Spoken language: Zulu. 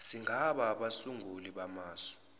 singaba abasunguli bamasu